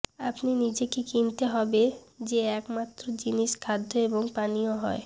আপনি নিজেকে কিনতে হবে যে একমাত্র জিনিস খাদ্য এবং পানীয় হয়